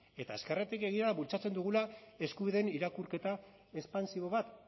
eta ezkerratik egia da bultzatzen dugula eskubideen irakurketa espansibo bat